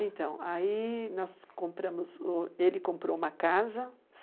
Então, aí nós compramos, o ele comprou uma casa.